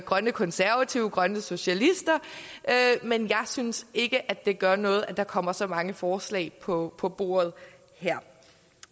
grønne konservative grønne socialister men jeg synes ikke det gør noget at der kommer så mange forslag på på bordet her